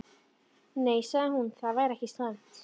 Nei, sagði hún, það væri ekki slæmt.